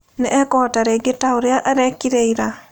Nĩ ekũhota rĩngĩ ta ũrĩa eekire ĩra?